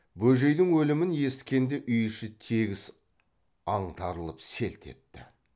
бөжейдің өлімін есіткенде үй іші тегіс аңтарылып селт етті